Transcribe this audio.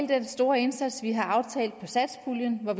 den store indsats som vi har aftalt for satspuljen der